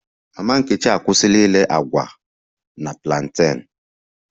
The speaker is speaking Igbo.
Mama nkechi akwụsịla ire agwa na plantain